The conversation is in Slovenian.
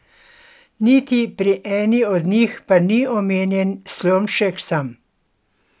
Niti pri eni od njih pa ni omenjen Slomšek sam.